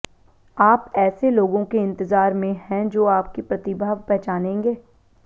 आप ऐसे लोगों के इंतज़ार में हैं जो आपकी प्रतिभा पहचानेंगे